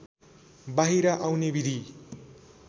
बाहिर आउने विधि